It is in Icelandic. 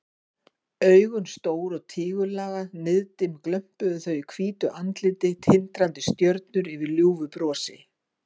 Augun stór og tígullaga, niðdimm glömpuðu þau í hvítu andliti, tindrandi stjörnur yfir ljúfu brosi.